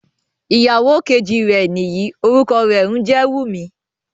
Iyàwọ kẹjì rè níyí, orúkọ rè ǹjẹ Wúmì.